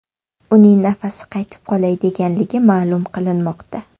Uning nafasi qaytib qolay deganligi ma’lum qilinmoqda.